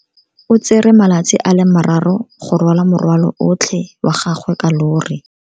O tsere malatsi a le marraro go rwala morwalo otlhe wa gagwe ka llori.